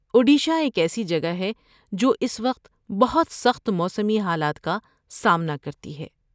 اوڈیشہ ایک ایسی جگہ ہے، جو اس وقت بہت سخت موسمی حالات کا سامنا کرتی ہے۔